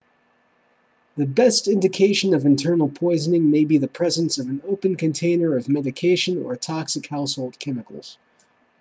the best indication of internal poisoning may be the presence of an open container of medication or toxic household chemicals